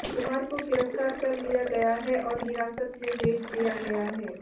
कुमार को गिरफ्तार कर लिया गया है और हिरासत में भेज दिया गया है